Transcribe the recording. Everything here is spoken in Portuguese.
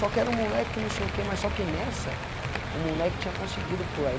Só quero o moleque, que não sei o que, mas só que nessa, o moleque tinha conseguido pular.